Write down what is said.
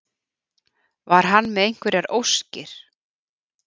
Var hann með einhverjar óskir?